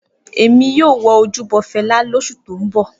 Emi yoo wo ojubo Fẹla losu to n bọ.